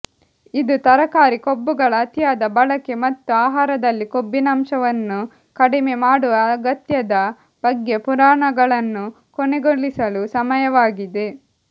ಇದು ತರಕಾರಿ ಕೊಬ್ಬುಗಳ ಅತಿಯಾದ ಬಳಕೆ ಮತ್ತು ಆಹಾರದಲ್ಲಿ ಕೊಬ್ಬಿನಾಂಶವನ್ನು ಕಡಿಮೆ ಮಾಡುವ ಅಗತ್ಯದ ಬಗ್ಗೆ ಪುರಾಣಗಳನ್ನು ಕೊನೆಗೊಳಿಸಲು ಸಮಯವಾಗಿದೆ